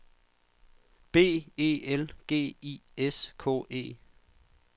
B E L G I S K E